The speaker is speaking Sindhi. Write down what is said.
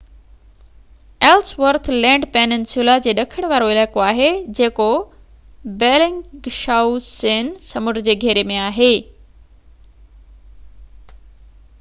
ايلسورٿ لينڊ پيننسيولا جي ڏکڻ وارو علائقو آهي جيڪو بيلنگشائوسين سمنڊ جي گهيري ۾ آهي